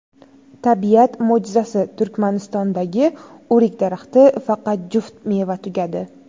Tabiat mo‘jizasi: Turkmanistondagi o‘rik daraxti faqat juft meva tugadi .